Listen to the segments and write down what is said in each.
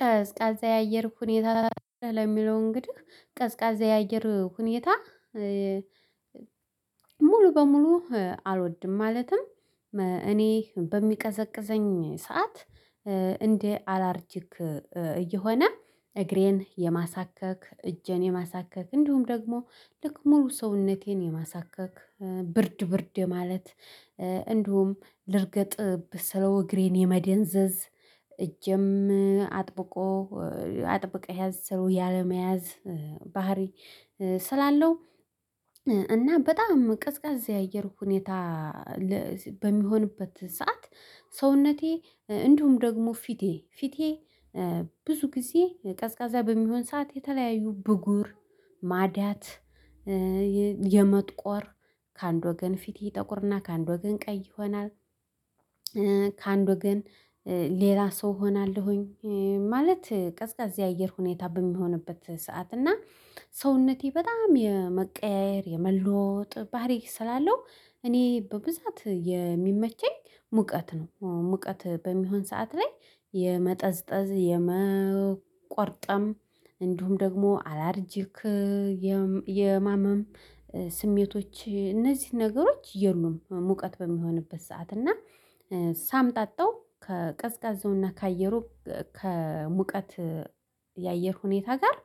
ቀዝቃዛ የአየር ሁኔታ ለሚለው እንግዲህ ቀዝቃዛ የአየር ሁኔታ ሙሉ በሙሉ አልወድም። ማለትም እኔ በሚቀዘቅዘኝ ሰዓት እንደ አላርጂክ እየሆነ እግሬን የማሳከክ እጄን የማሳከክ እንዲሁም ደግሞ ልክ ሙሉ ሰውነቴን የማሳከክ ብርድ ብርድ የማለት እንዲሁም ልርገጥብህ ስለው እግሬን የመደንዘዝ እጄም አጥብቆ አጥብቀህ ያዝ ስለው ያለመያዝ ባህሪ ስላለው እና በጣም ቀዝቃዛ የአየር ሁኔታ። በሚሆንበት ሰዓት ሰውነቴ እንዲሁም ደግሞ ፊቴ ፊቴ ብዙ ጊዜ ቀዝቃዛ በሚሆን ሰዓት የተለያዩ ብጉር ማዳት የመጥቆር ከአንድ ወገን ፊት ይጠቁርና ከአንድ ወገን ቀይ ይሆናል። ከአንድ ወገን ሌላ ሰው እሆናለሁኝ ማለት ቀዝቃዛ የአየር ሁኔታ በሚሆንበት ሰዓት እና ሰውነቴ በጣም የመቀያየር የመለወጥ ባህሪ ስላለው እኔ በብዛት የሚመቸኝ ሙቀት ነው። ሙቀት በሚሆን ሰዓት ላይ የመጠዝጠዝ የመቆርጠም እንዲሁም ደግሞ አላርጂክ የማመም ስሜቶች እነዚህን ነገሮች የሉም። ሙቀት በሚሆንበት ሰዓት እና ሳምጣጣው ከቀዝቃዛውና ከአየሩ ከሙቀት የአየር ሁኔታ ጋር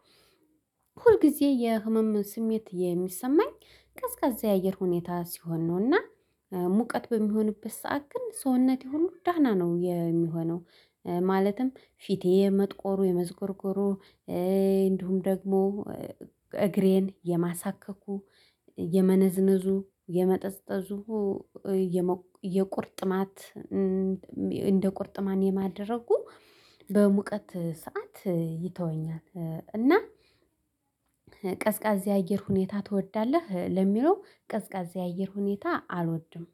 ሁልጊዜ የህመም ስሜት የሚሰማኝ ቀዝቃዛ የአየር ሁኔታ ሲሆን ነውና። ሙቀት በሚሆንበት ሰዓት ግን ሰውነቴ ሁሉ ደህና ነው የሚሆነው። ማለትም ፊቴ መጥቆሩ የመዝኮርኮሩ እንዲሁም ደግሞ እግሬን የማሳከኩ የመነዝነዙ የመጠጥጠጹ የቁርጥማት እንደ ቁርጥማን የማደረጉ በሙቀት ሰዓት ይተወኛል። እና ቀዝቃዜ አየር ሁኔታ ትወዳለህ ለሚለው ቀዝቃዛ የአየር ሁኔታ አልወድም።